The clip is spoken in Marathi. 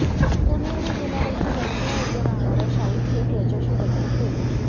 सोनियाने गेल्या वर्षी वर्सोवा येथे राहणाऱया शाहीद शेख याच्याशी लग्न केले